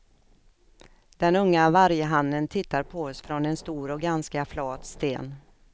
Den unga varghannen tittar på oss från en stor och ganska flat sten.